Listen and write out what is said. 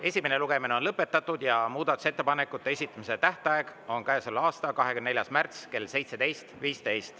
Esimene lugemine on lõpetatud ja muudatusettepanekute esitamise tähtaeg on käesoleva aasta 24. märts kell 17.15.